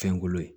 Fɛnkolo ye